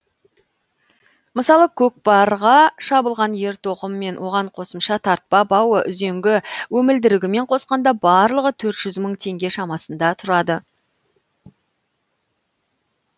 мысалы көкпарға шабылған ер тоқым мен оған қосымша тартпа бауы үзеңгі өмілдірігімен қосқанда барлығы төрт жүз мың теңге шамасында тұрады